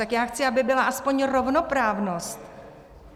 Tak já chci, aby byla aspoň rovnoprávnost.